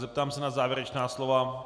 Zeptám se na závěrečná slova.